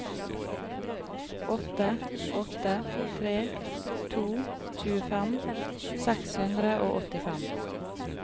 åtte åtte tre to tjuefem seks hundre og åttifem